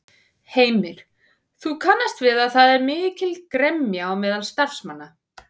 Heimir: Þú kannast við að það er mikil gremja á meðal starfsmanna?